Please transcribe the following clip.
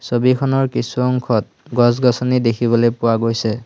ছবিখনৰ কিছু অংশত গছ গছনি দেখিবলৈ পোৱা গৈছে।